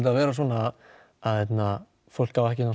að vera svona fólk á ekki að